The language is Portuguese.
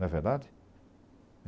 Não é verdade?